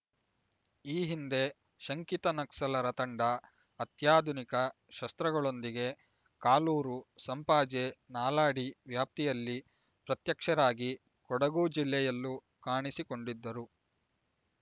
ಈ ಹಿಂದೆ ಶಂಕಿತ ನಕ್ಸಲರ ತಂಡ ಅತ್ಯಾಧುನಿಕ ಶಸ್ತ್ರಗಳೊಂದಿಗೆ ಕಾಲೂರು ಸಂಪಾಜೆ ನಾಲಾಡಿ ವ್ಯಾಪ್ತಿಯಲ್ಲಿ ಪ್ರತ್ಯಕ್ಷರಾಗಿ ಕೊಡಗು ಜಿಲ್ಲೆಯಲ್ಲೂ ಕಾಣಿಸಿಕೊಂಡಿದ್ದರು